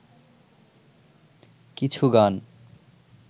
কিছু গান